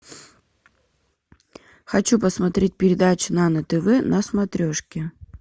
хочу посмотреть передачу нано тв на смотрешке